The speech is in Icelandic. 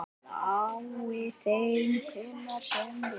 Lái þeim hver sem vill.